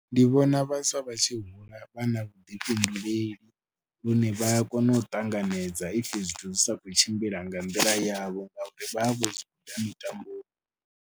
Ndi vhona vhaswa vha tshi hula vha na vhuḓifhinduleli lune vha a kona u ṱanganedza if zwithu dzi sa khou tshimbila nga nḓila yavho ngauri vha vha vho zwi guda mitamboni.